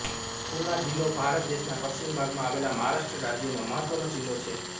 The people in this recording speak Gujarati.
પુના જિલ્લો ભારત દેશના પશ્ચિમ ભાગમાં આવેલા મહારાષ્ટ્ર રાજ્યનો મહત્વનો જિલ્લો છે